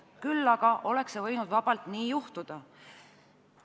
Küll aga oleks see võinud vabalt juhtuda.